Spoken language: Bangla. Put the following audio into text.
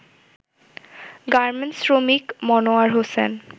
গার্মেন্টস শ্রমিক মনোয়ার হোসেন